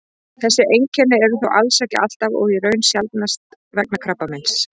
þessi einkenni eru þó alls ekki alltaf og í raun sjaldnast vegna krabbameins